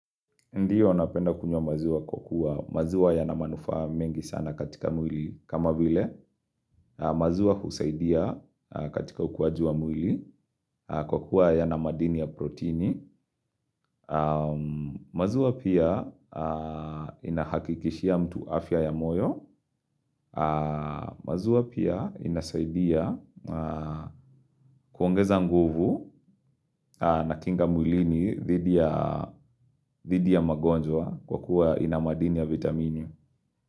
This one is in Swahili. Ndiyo, napenda kunywa maziwa kwa kuwa maziwa yana manufaa mengi sana katika mwili. Kama vile, maziwa husaidia katika ukuaji wa mwili kwa kuwa yana madini ya protini. Maziwa pia inahakikishia mtu afya ya moyo. Maziwa pia inasaidia kuongeza nguvu na kinga mwilini dhidi ya dhidi ya magonjwa kwa kuwa ina madini ya vitamini.